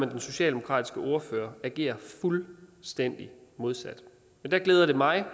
den socialdemokratiske ordfører agere fuldstændig modsat men der glæder det mig